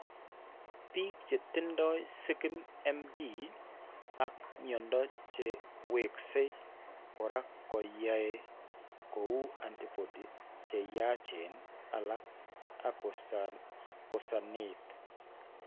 Biik che tindo SIgMD ak mnyando che wekse kora ko keny'aayi ko uu antibody che yachen alak ak kosaneet.